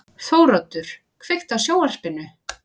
Þóroddur, kveiktu á sjónvarpinu.